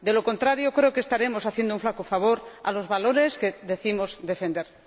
De lo contrario, creo que estaremos haciendo un flaco favor a los valores que decimos defender.